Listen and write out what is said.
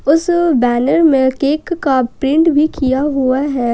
उस बैनर में केक का प्रिंट भी किया हुआ है।